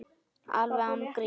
Alveg án gríns.